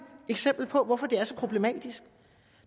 eksempel på hvorfor det er så problematisk